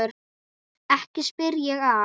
Ekki spyr ég að.